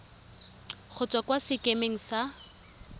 go tswa kwa sekemeng sa